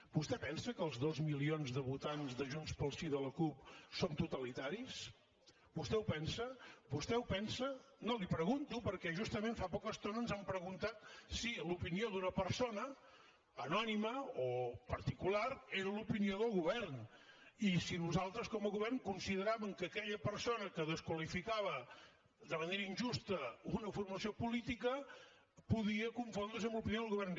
vostè pensa que els dos milions de votants de junts pel sí i de la cup són totalitaris vostè ho pensa vostè ho pensa no li ho pregunto perquè justament fa poca estona ens han preguntat si l’opinió d’una persona anònima o particular era l’opinió del govern i si nosaltres com a govern consideràvem que aquella persona que desqualificava de manera injusta una formació política podia confondre’s amb l’opinió del govern